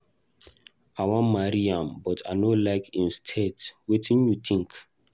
I wan marry am but I no like im state. Wetin you think?